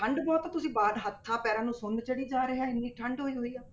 ਠੰਢ ਬਹੁਤ ਹੈ, ਤੁਸੀਂ ਬਾਹਰ ਹੱਥਾਂ ਪੈਰਾਂ ਨੂੰ ਸੁੰਨ ਚੜੀ ਜਾ ਰਿਹਾ ਹੈ ਇੰਨੀ ਠੰਢ ਹੋਈ ਹੋਈ ਆ।